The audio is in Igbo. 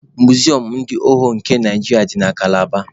Muzium ndị ohu nke Naijiria dị na Kalaba